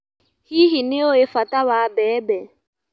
Hihi nĩũĩ bata wa mbembe.